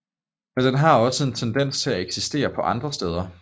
Men den har også en tendens til at eksistere på andre steder